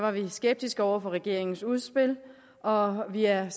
vi skeptiske over for regeringens udspil og vi er